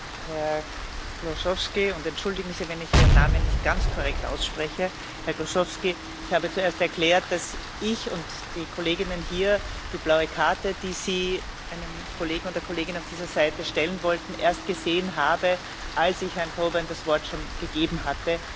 Herr Kłosowski bitte entschuldigen Sie, wenn ich Ihren Namen nicht ganz korrekt ausspreche ich habe zuerst erklärt, dass ich und die Kolleginnen hier die blaue Karte, mit der Sie einem Kollegen oder einer Kollegin auf dieser Seite eine Frage stellen wollten, erst gesehen haben, als ich Herrn Coburn das Wort schon gegeben hatte.